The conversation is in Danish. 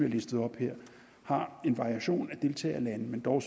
listede op her har en variation af deltagerlande men dog